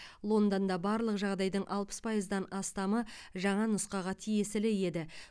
лондонда барлық жағдайдың алпыс пайыздан астамы жаңа нұсқаға тиесілі еді